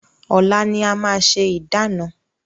Ọ̀la ni a máa ṣe ìdána.